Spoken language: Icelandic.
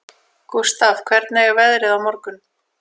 Gústaf, hvernig er veðrið á morgun?